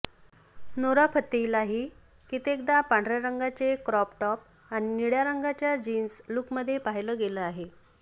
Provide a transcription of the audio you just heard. नोरा फतेहीलाही कित्येकदा पांढऱ्या रंगाचे क्रॉप टॉप आणि निळ्या रंगाच्या जीन्स लुकमध्ये पाहिलं गेलं आहे